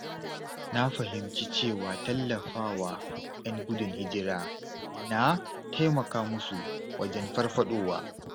Na fahimci cewa tallafawa ‘yan gudun hijira yana taimaka musu wajen farfaɗowa.